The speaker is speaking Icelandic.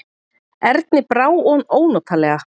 Erni brá ónotalega.